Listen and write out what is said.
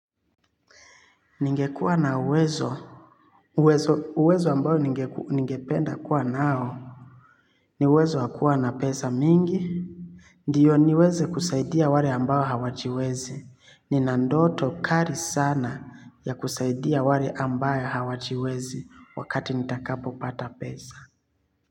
Ningekuwa na uwezo uwezo ambayo ningependa kuwa nao. Ni uwezo wa kuwa na pesa mingi. Ndiyo niweze kusaidia wale ambao hawajiwezi. Nina ndoto kali sana ya kusaidia wale ambao hawajiwezi. Wakati nitakapo pata pesa.